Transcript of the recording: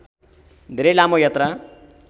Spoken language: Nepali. धेरै लामो यात्रा